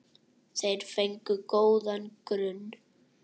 Þeir fengu góðan grunn.